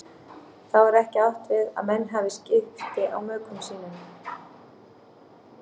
Þá er ekki átt við að menn hafi skipti á mökum sínum.